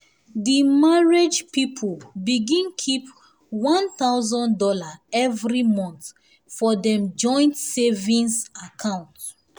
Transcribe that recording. the marriage people begin keep one thousand dollars every month for dem joint savings account